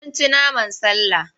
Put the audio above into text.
Mun ci naman sallah.